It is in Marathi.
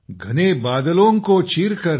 घने बादलों को चीरकर